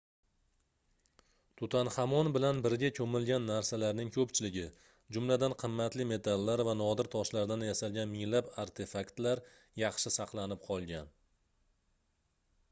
tutanxamon bilan birga koʻmilgan narsalarning koʻpchiligi jumladan qimmatli metallar va nodir toshlardan yasalgan minglab artefaktlar yaxshi saqlanib qolgan